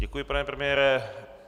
Děkuji, pane premiére.